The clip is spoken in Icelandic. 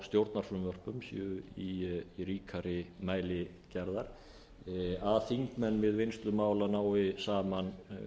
stjórnarfrumvörpum séu í ríkari mæli gerðar að þingmenn við vinnslu málanna nái saman